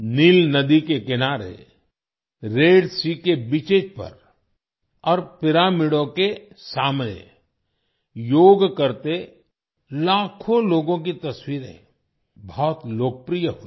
नील नदी के किनारे रेड एसईए के बीचेस पर और पिरामिडों के सामने - योग करते लाखों लोगों की तस्वीरें बहुत लोकप्रिय हुईं